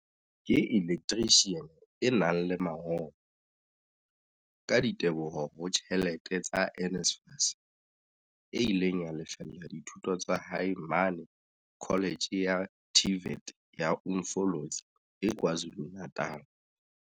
ke elektrishiane e nang le mangolo, ka diteboho ho tjhelete tsa NSFAS, e ileng ya lefella dithuto tsa hae mane Kholetjhe ya TVET ya Umfolozi e KwaZulu-Natal.